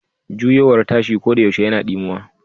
Juyowar tashi koɗayaushe yana dimuwa.